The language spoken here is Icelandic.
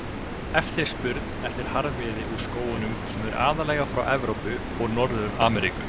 Eftirspurn eftir harðviði úr skógunum kemur aðallega frá Evrópu og Norður-Ameríku.